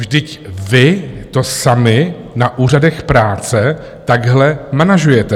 Vždyť vy to sami na úřadech práce takhle manažujete!